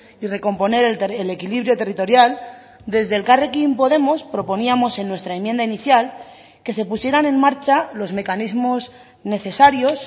y recomponer el equilibrio territorial desde elkarrekin podemos proponíamos en nuestra enmienda inicial que se pusieran en marcha los mecanismos necesarios